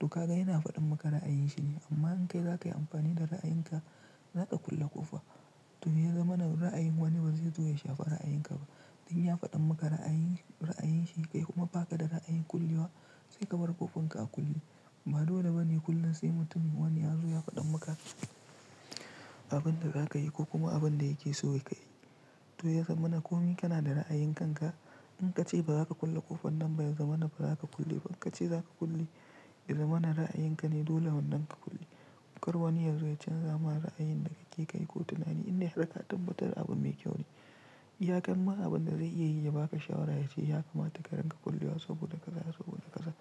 To kaga yana faɗin maka ra'ayin shi ne amma in kai zakayi amfani da ra'ayin ka, za ka kulle ƙofa. To ya zama na ra'ayin wani ba zai zo ya shafa ra'ayin ka ba. Duk ya faɗa maka ra'ayin, ra'ayin shi ka yi kuma ba ka da ra'ayin kullewa sai ka bar ƙofinka a kulle. Ba dole bane kullum sai mutum wani ya zo ya faɗa maka abin da za ka yi ko kuma abin da yake so ka yi. To ya zama na komi kana da ra'ayin kanka. In ka ce ba za ka kulle ƙofar nan ba ya zama na ba za ka kulle ba. In ka ce za ka kulle, ya zama na ra'ayin ka ne dole wannan ka kulle. In kar wani ya zo ya canza ma ra'ayin da kake kai ko tunani inda har ka tabbatar abin mai kyau ne. Iyaka ma abin da zai iya yi ya baka shawara ya ce ya kamata ka ringa kullewa saboda kaza saboda kaza.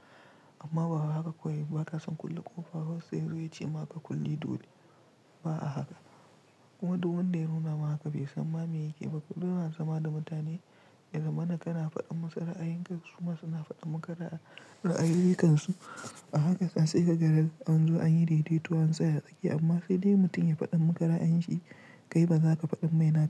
Amma ba haka kawai ba ka son kulle ƙofa har sai yazo yace ma ka kulle dole. Ba a haka. Kuma duk wanda ya nuna maka bai san ma me yake ba. Duk lokacin zama da mutane, ya zama nakana faɗin musu ra'ayin kasu ma suna faɗin maka ra'ayin, ra'ayoyinsu. A haka ka sai ka ga yanzu an yi dai-dai tuni sai a sake. Amma sai dai mutum ya faɗi maka ra'ayin shi, kai ba za ka faɗi mai na ba.